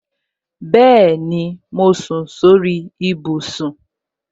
Bẹẹni, mo sùn sórí ibùsùn